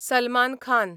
Salman Khan